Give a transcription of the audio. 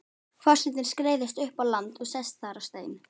Forsetinn skreiðist upp á land og sest þar á stein.